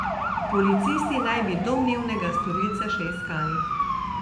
Policisti naj bi domnevnega storilca še iskali.